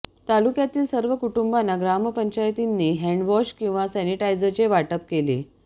तालुक्यातील सर्व कुटुंबांना ग्रामपंचायतींनी हॅण्डवॉश किंवा सॅनिटायझरचे वाटप केले